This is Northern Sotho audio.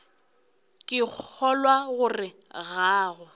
ke kgolwa gore ga go